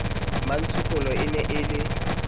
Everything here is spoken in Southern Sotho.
mmatshokolo e ne e le